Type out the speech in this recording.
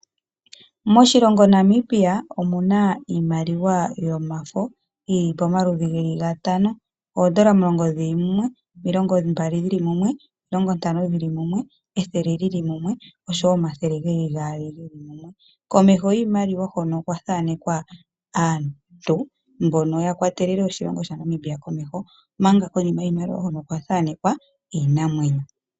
Moshilongo Namibia omu na iimaliwa yomafo yi li pamaludhi geli ga tano. Oondola omulongo dhili mumwe, oondola omilongo mbali dhi li mumwe, omilongo ntano dhi li mumwe, ethele li li mumwe, oshowo omathele geli gaali ge li mumwe. Komeho giimaliwa hono okwa thaanekwa aantu mbono ya kwatelele oshilongo sha Namibia komeho, omanga konima yiimaliwa hoka okwa thaanekwa iinamwenyo.